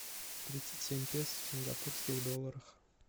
тридцать семь песо в сингапурских долларах